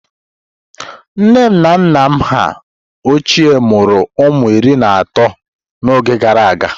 Nne na nna ha ochie mụrụ ụmụ iri na atọ n'oge gara aga.